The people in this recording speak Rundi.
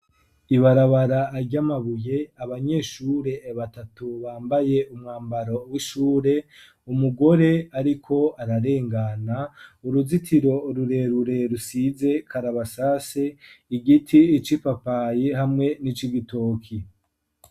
Ibarabara aryamabuye, abanyeshure batatu bambaye umwambaro w'ishure, umugore ariko ararengana, uruzitiro rurerure rusize karabasase, igiti ic'ipapayi, hamwe n'ic'igitoki.